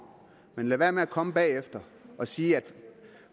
man skal lade være med at komme bagefter og sige at